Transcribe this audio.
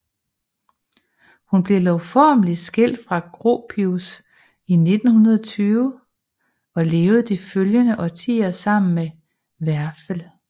Hun blev lovformelig skilt fra Gropius i 1920 og levede de følgende årtier sammen med Werfel